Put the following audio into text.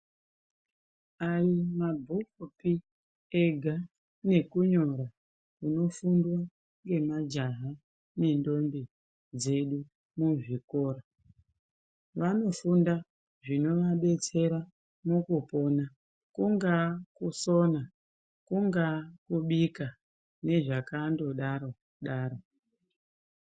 Ayi mabhuku pii ega neku nyora kuno fundwa nge majaha ne ndombi dzedu mu zvikora vano funda zvino vadetsera muku pona kungaa kusona kunga kubika ne zvakando daro daro.